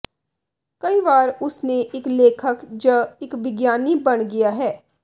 ਕਈ ਵਾਰ ਉਸ ਨੇ ਇੱਕ ਲੇਖਕ ਜ ਇੱਕ ਵਿਗਿਆਨੀ ਬਣ ਗਿਆ ਹੈ